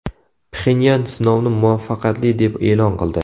Pxenyan sinovni muvaffaqiyatli deb e’lon qildi.